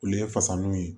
Olu ye fasaliw ye